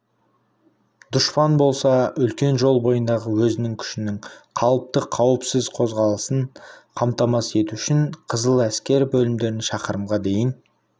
дұшпан болса үлкен жол бойындағы өзінің күшінің қалыпты қауіпсіз қозғалысын қамтамасыз ету үшін қызыл әскер бөлімдерін шақырымға дейін